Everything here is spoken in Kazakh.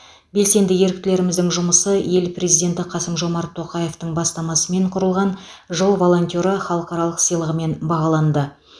белсенді еріктілеріміздің жұмысы ел президенті қасым жомарт тоқаевтың бастамасымен құрылған жыл волонтері халықаралық сыйлығымен бағаланды